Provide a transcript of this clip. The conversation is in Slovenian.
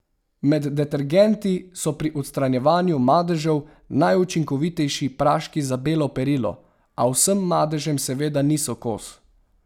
Med detergenti so pri odstranjevanju madežev najučinkovitejši praški za belo perilo, a vsem madežem seveda niso kos.